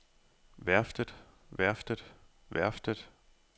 værftet værftet værftet